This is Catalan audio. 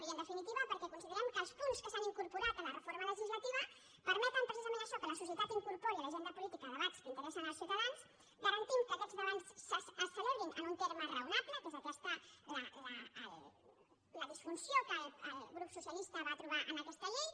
i en definitiva perquè considerem que els punts que s’han incorporat en la reforma legislativa permeten precisament això que la societat incorpori a l’agenda política debats que interessen als ciutadans garantim que aquests debats es celebrin en un termini raonable que és aquesta la disfunció que el grup socialista va trobar en aquesta llei